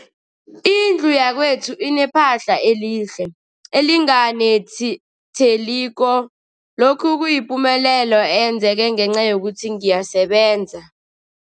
Indlu yakwethu inephahla elihle, elinganetheliko, lokhu kuyipumelelo eyenzeke ngenca yokuthi ngiyasebenza.